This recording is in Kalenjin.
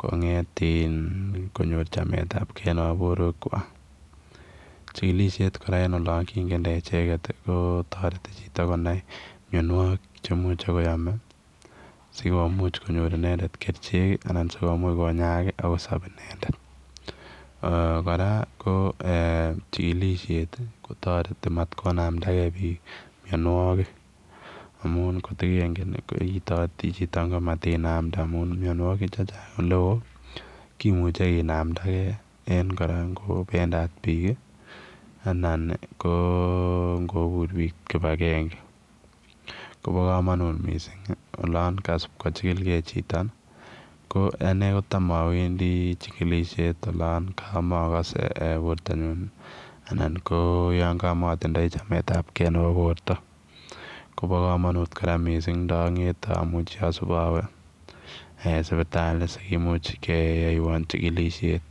konget ii konyor chametab kei nebo borwek chwak chikilisiet kora en olon kingete echeget ii ko toreti chito konai mionwokik che imuch kwam ii sikomuch inended kwam kerichek ala sikomuch konyaak akosop inended ee kors ko ee chikilisiet kotoret matkonamtakei biik mionwokik amun kot ko kenget ile itumot chito komatinamtee amu mionwokik chechang ole woo kimuche kinamtakei en korotik ak kora yan kabendad biik an koo ingobur biik kibagenge kobo komonutit missing olon kasip kochikil kei chito ko anei kotam awendi chikilisiet olon mokose bortanyun alan yan kamotinye chametab kei nebo borto kobo komonut kora indongetee ak asip awe sipitali sikimuch keyoieon chekilisiet.